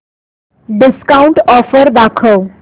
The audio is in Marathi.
डिस्काऊंट ऑफर दाखव